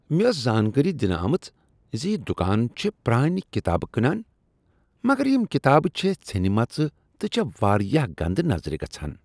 مےٚ ٲس زانٛکٲری دنہٕ آمٕژ ز یہ دکان چھےٚ پرٛانِہ کتابہٕ کٕنان مگر یم کتابہٕ چھےٚ ژھینہِ مژ تہٕ چھےٚ واریاہ گندٕ نظرِ گژھان۔